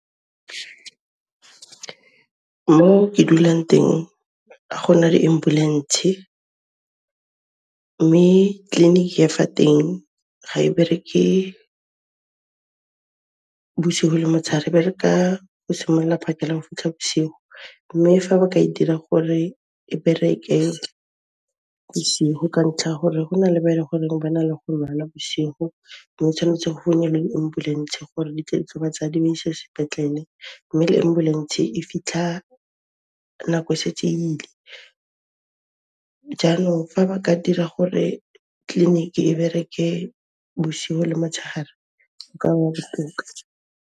Mo ke dulang teng, ga gona di ambulentshe, mme tleliniki ya fa teng ga e bereke bosiho le motsheare, e bereka go simolla phakela go fitlha bošiu, mme fa ba ka e dira gore e bereke bosigo ka ntlha ya gore go na le ba e le goreng ba na le go lwala bošigo mme o tshwanetse go nne le di ambulentshe gore di tle di tlo ba tsaya, di ba ise sepetlele mme le ambulentshe e fitlha nako e setse e ile. Jaanong, fa ba ka dira gore tleliniki e bereke bošiu le motshehare, go ka ba botoka.